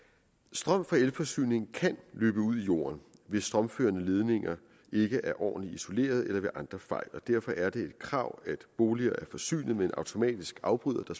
strøm fra elforsyning kan løbe ud i jorden hvis strømførende ledninger ikke er ordentligt isoleret eller ved andre fejl og derfor er det et krav at boliger er forsynet med en automatisk afbryder en